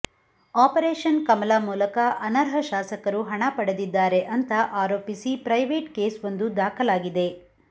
operation Kamala ಮೂಲಕ ಅನರ್ಹ ಶಾಸಕರು ಹಣ ಪಡೆದಿದ್ದಾರೆ ಅಂತ ಆರೋಪಿಸಿ ಪ್ರೈವೇಟ್ ಕೇಸ್ ವೊಂದು ದಾಖಲಾಗಿದೆ